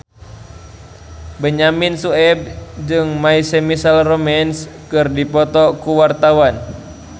Benyamin Sueb jeung My Chemical Romance keur dipoto ku wartawan